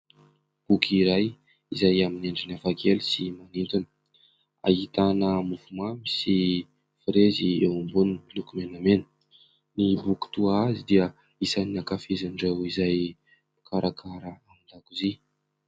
Boky iray izay amin'ny endriny hafakely sy manintona. Ahitana mofomamy sy firezy eo amboniny miloko menamena. Ny boky toa azy dia isan'ny ankafizin'ireo izay mikarakara ao an-dakozia.